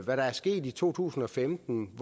der er sket i to tusind og femten